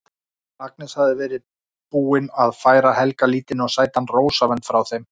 Agnes hafði verið búin að færa Helga lítinn og sætan rósavönd frá þeim